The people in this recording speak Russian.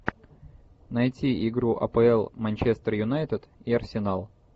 найти игру апл манчестер юнайтед и арсенал